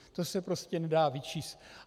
To se prostě nedá vyčíst.